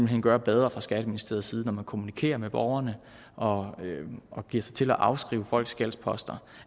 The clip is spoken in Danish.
hen gøre bedre fra skatteministeriets side når man kommunikerer med borgerne og og giver sig til at afskrive folks gældsposter